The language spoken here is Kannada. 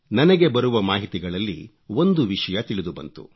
ನನಗೆ ಬರುವ ಮಾಹಿತಿಗಳಲ್ಲಿ ಒಂದು ವಿಷಯ ತಿಳಿದು ಬಂತು